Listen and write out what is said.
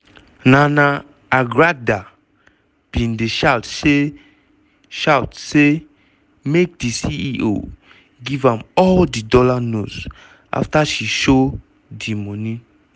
nana agradaa bin dey shout say shout say make di ceo give am all di dollar notes; afta she show di moni